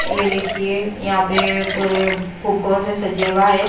ये देखिए यहां पे पूरे फुगोंन से सजे हुआ है।